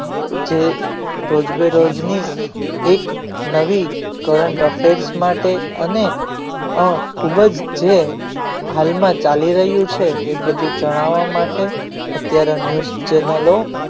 જે રોજબે રોજની એક નવી કરંટ offers માટે અને ખૂબ જ છે હાલમાં ચાલી રહ્યું છે એ બધું જણાવવા માટે અત્યારે news channel